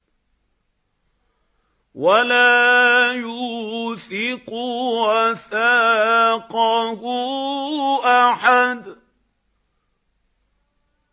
وَلَا يُوثِقُ وَثَاقَهُ أَحَدٌ